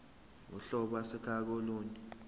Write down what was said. uhlobo ase kolunye